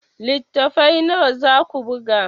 Littattafai nawa za ku buga?